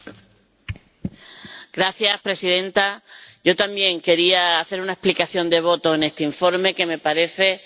Señora presidenta, yo también quería hacer una explicación de voto en este informe que me parece un paso adelante.